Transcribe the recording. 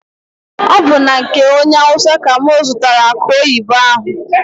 Ọ bụ na nke onye awụsa ka mụ zụtara akụ oyibo ahụ.